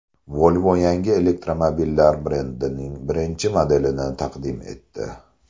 Volvo yangi elektromobillar brendining birinchi modelini taqdim etdi .